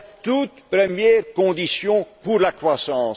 euro. C'est la toute première condition pour la croissance.